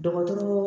Dɔgɔtɔrɔ